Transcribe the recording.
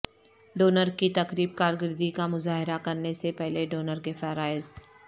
donor کی تقریب کارکردگی کا مظاہرہ کرنے سے پہلے ڈونر کے فرائض